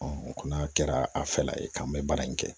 o kɔni a kɛra a fɛla ye k'an bɛ baara in kɛ